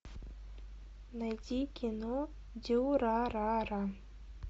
найди кино дюрарара